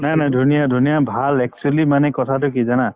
নাই নাই ধুনীয়া ধুনীয়া ভাল actually মানে কথাটো কি জানা